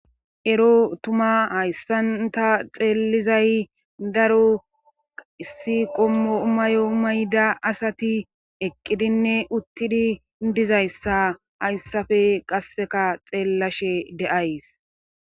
Ero tuma hayssanta xeellizay daro issi qommo mayo mayda asati eqqidinne uttidi dizayssa hayssafe qasseka xeellashe deays.